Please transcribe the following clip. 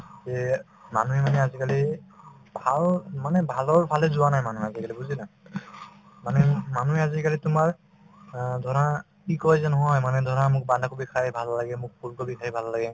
তে মানুহে মানে আজিকালি ভাল মানে ভালৰ ফালে যোৱা নাই মানুহ আজিকালি বুজিলা মানে মানুহে আজিকালি তোমাৰ অ ধৰা কি কই যে নহয় মানে ধৰা মোক বন্ধাকবি খাই ভাল লাগে , মোক ওলকবি খাই ভাল লাগে